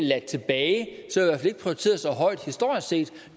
prioriteret så højt historisk set